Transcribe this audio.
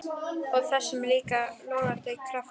Og þessum líka logandi krafti.